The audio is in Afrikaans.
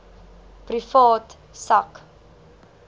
privaat sak